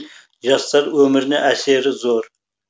жастар өміріне әсері зор